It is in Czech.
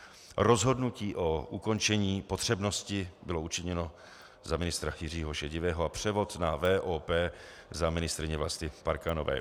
Rozhodnutí o ukončení potřebnosti bylo učiněno za ministra Jiřího Šedivého a převod na VOP za ministryně Vlasty Parkanové.